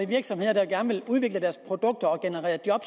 virksomheder der gerne vil udvikle deres produkter og generere job